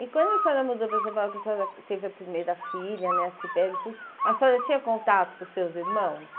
E quando a senhora mudou para São Paulo, quando a senhora teve a primeira filha, né, a Cybele e tudo, a senhora tinha contato com os seus irmãos?